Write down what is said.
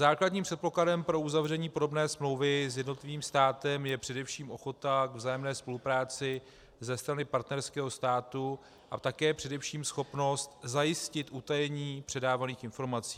Základním předpokladem pro uzavření podobné smlouvy s jednotlivým státem je především ochota k vzájemné spolupráci ze strany partnerského státu a také především schopnost zajistit utajení předávaných informací.